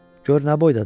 Gör nə boydadır!